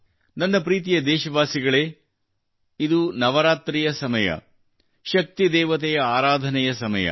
ನನ್ನ ಪ್ರೀತಿಯ ದೇಶವಾಸಿಗಳೇ ಇದು ನವರಾತ್ರಿಯ ಸಮಯ ಶಕ್ತಿ ದೇವತೆಯ ಆರಾಧನೆಯ ಸಮಯ